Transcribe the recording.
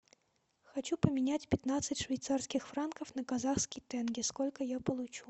хочу поменять пятнадцать швейцарских франков на казахский тенге сколько я получу